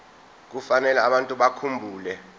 kufanele abantu bakhumbule